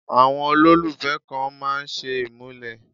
Àwọn olólùfẹ́ kan máa ń ṣe ìmúlẹ̀.